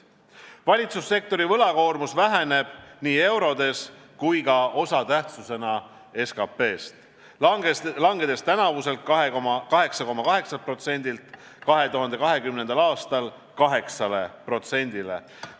Valitsussektori võlakoormus väheneb nii eurodes kui ka osatähtsusena SKP-st, langedes tänavuselt 8,8%-lt 2020. aastal 8%-le.